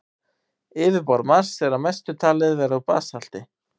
Yfirborð Mars er að mestu talið vera úr basalti.